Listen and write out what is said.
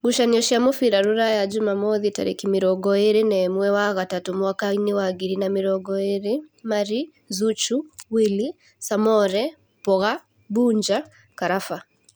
Ngucanio cia mũbira Rūraya Jumamothi tarĩki mĩrongo ĩrĩ na ĩmwe wa gatatũ mwaka wa ngiri igĩrĩ na mĩrongo ĩrĩ: Marĩ, Zuchu, Wili, Samore, Mboga, Bunja, Karaba